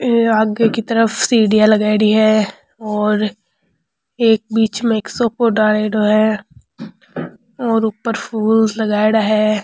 आगे की तरफ सीढियाँ लगायेडी है और एक बिच में एक सोफों डालेडो है और ऊपर फूल लगायेडा है।